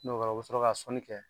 N'o kɛra u bi sɔrɔ ka sɔnni kɛ